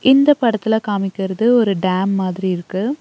இந்த படத்துல காமிக்கிறது ஒரு டேம் மாதிரி இருக்கு.